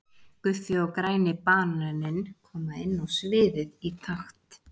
Guffi og Græni bananinn koma inn á sviðið í takt.